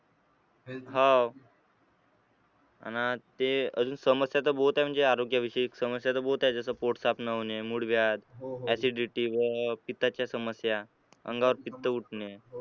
हाव अन ते अजून समस्या तर बहुत आहे म्हणजे आरोग्य विषयी समस्या तर बहोत आहे जसं पोट साफ न होणे, मुळव्याध, acidity व पित्ताच्या समस्या, अंगावर पित्त उठणे.